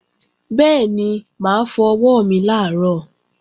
Bẹ́ẹ̀ni, mà á fọ ọwọ́ mi làárọ̀